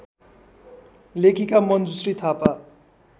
लेखिका मञ्जुश्री थापा